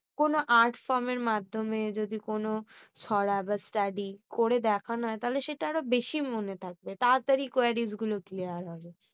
কোনো art fram এর মাধ্যমে যদি কোন ছড়া বা study করে দেখনো তাহলে সেটা আরো বেশি মনে থাকবে তাড়াতাড়ি queries গুলো clear হবে